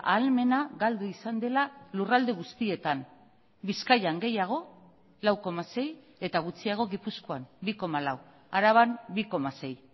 ahalmena galdu izan dela lurralde guztietan bizkaian gehiago lau koma sei eta gutxiago gipuzkoan bi koma lau araban bi koma sei